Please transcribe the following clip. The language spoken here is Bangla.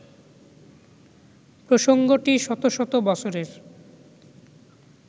প্রসঙ্গটি শত শত বছরের